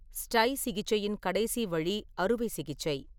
ஸ்டை சிகிச்சையின் கடைசி வழி அறுவை சிகிச்சை.